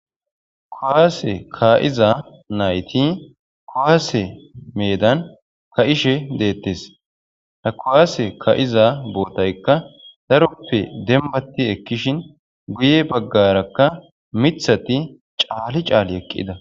kowaase ka7iza nayti kowaase medan ka7ishe deettes ha kowaase ka7iza bootaykka daroppe dembati ekkishin guye baggarakka mithati caali caali eqqida